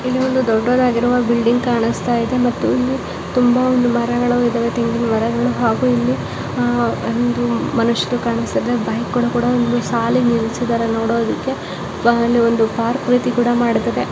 ಇಲ್ಲಿ ಒಂದು ದೊಡ್ಡದಾಗಿರುವ ಬಿಲ್ಡಿಂಗ್ ಕಾಣಿಸುತ್ತಾ ಇದೆ ಮತ್ತು ಇಲ್ಲಿ ತುಂಬಾ ಒಂದು ಮರಗಳು ಇದ್ದಾವೆ ಹಾಗು ಇಲ್ಲಿ ಮನುಷ್ಯರು ಕಾಣಿಸ್ತಿದ್ದಾರೆ ಬೈಕ್ ಗಳು ಕೂಡ ಸಾಲಾಗಿ ನಿಲ್ಲಿಸಿದ್ದಾರೆ ನೋಡೋದಿಕ್ಕೆ ಹಾಗೆ ಒಂದು ಪಾರ್ಕ್ ರೀತಿ ಕೂಡ ಮಾಡತದೆ.